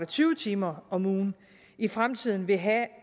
tyve timer om ugen i fremtiden vil have